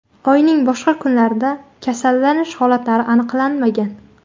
Oyning boshqa kunlarida kasallanish holatlari aniqlanmagan.